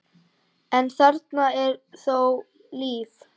en þarna er þó líf.